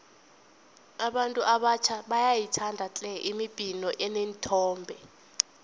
abantu abatjha bayayithanda tle imibhino eneenthombe